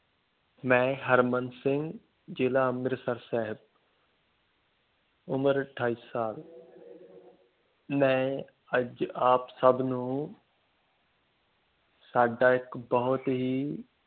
ਮੈਂ ਹਰਮਨ ਸਿੰਘ ਜ਼ਿਲ੍ਹਾ ਅੰਮ੍ਰਿਤਸਰ ਸਾਹਿਬ ਉਮਰ ਅਠਾਈ ਸਾਲ ਮੈਂ ਅੱਜ ਆਪ ਸਭ ਨੂੰ ਸਾਡਾ ਇੱਕ ਬਹੁਤ ਹੀ